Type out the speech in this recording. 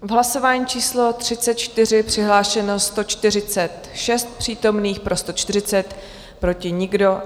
V hlasování číslo 34 přihlášeno 146 přítomných, pro 140 proti nikdo.